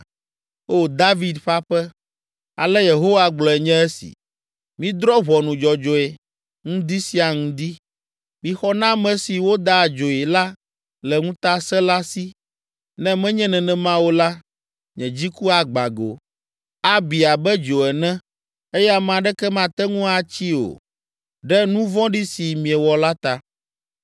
O David ƒe aƒe, ale Yehowa gblɔe nye esi: “ ‘Midrɔ̃ ʋɔnu dzɔdzɔe, ŋdi sia ŋdi, mixɔ na ame si woda adzoe la le ŋutasẽla si, ne menye nenema o la, nye dziku agbã go, abi abe dzo ene, eye ame aɖeke mate ŋu atsii o, ɖe nu vɔ̃ɖi si miewɔ la ta.